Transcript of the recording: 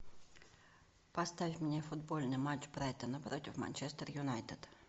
поставь мне футбольный матч брайтона против манчестер юнайтед